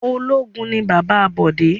Ológun ni bàbá Bọ̀dé